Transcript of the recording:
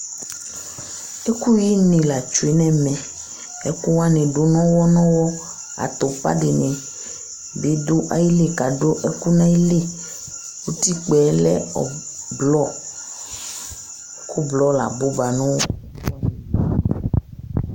ɛkʊ yi nɩ la tsue nʊ ɛmɛ, ɛkʊwanɩ dʊ nɔwɔ nɔwɔ, iko dɩnɩ bɩ dʊ ayili kʊ adʊ ɛkʊ n'ayili, utikpǝ yɛ lɛ avavlitsɛ, ɛkʊ avavlitsɛ la abʊba